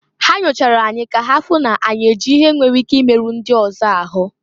Ha nyochara anyị ka ha fụ na anyị ihe nwere ike imeru ndị ọzọ ahụ.